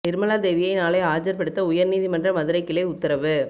நிர்மலா தேவியை நாளை ஆஜர்படுத்த உயர் நீதிமன்ற மதுரை கிளை உத்தரவு